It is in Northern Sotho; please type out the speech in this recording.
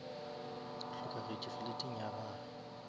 o hlokagetše fleteng ya gage